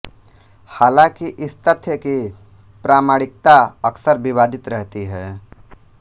हालांकि इस तथ्य की प्रामाणिकता अक्सर विवादित रहती है